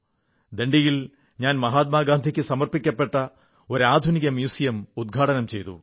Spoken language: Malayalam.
ദാണ്ഡിയിൽ ഞാൻ മഹാത്മാഗാന്ധിക്കു സമർപ്പിക്കപ്പെട്ട ഒരു അത്യാധുനിക മ്യൂസിയം ഉദ്ഘാടനം ചെയ്തു